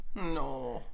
Nåh